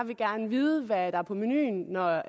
vil gerne vide hvad der er på menuen når